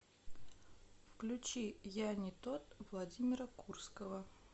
включи я не тот владимира курского